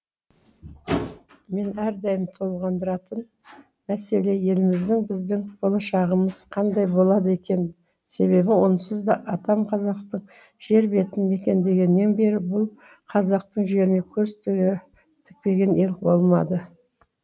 мені әрдайым толғандыратын мәселе еліміздің біздің болашағымыз қандай болады екен себебі онсызда атам қазақтың жер бетін мекендегеннен бері бұл қазақтың жеріне көз тікпеген ел болмады